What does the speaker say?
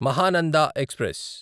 Mahananda express